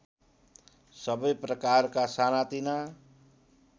सबै प्रकारका सानातिना